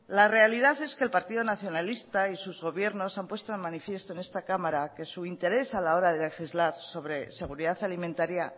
la realidad es que el partido nacionalista y sus gobiernos han puesto de manifiesto en esta cámara que su interés a la hora de legislar sobre seguridad alimentaria